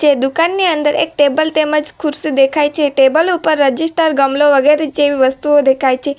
દુકાનની અંદર એક ટેબલ તેમજ ખુરશી દેખાય છે ટેબલ ઉપર રજીસ્ટર ગમલો વગેરે જેવી વસ્તુઓ દેખાય છે.